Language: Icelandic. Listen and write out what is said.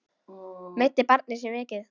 Meiddi barnið sig mikið?